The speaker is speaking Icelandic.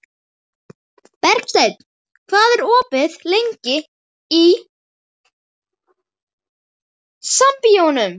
Bergsteinn, hvað er opið lengi í Sambíóunum?